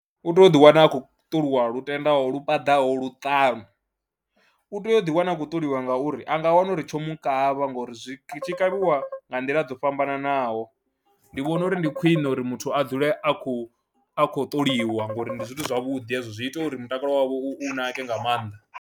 U tea u ḓiwana a khou ṱolwa lutendaho, lu paḓaho luṱanu, u tou ḓiwana a khou ṱoliwa ngauri a nga wana uri tsho mu kavha ngori zwi tshi kavhiwa nga nḓila dzo fhambananaho, ndi vhona uri ndi khwiṋe uri muthu a dzule a khou a khou ṱoliwa ngori ndi zwithu zwavhuḓi hezwo zwi ita uri mutakalo wavho u nake nga maanḓa.